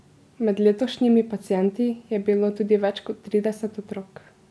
Med letošnjimi pacienti je bilo tudi več kot trideset otrok.